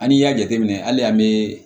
An'i y'a jateminɛ hali an bɛ